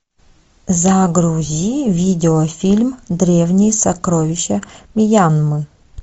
загрузи видеофильм древние сокровища мьянмы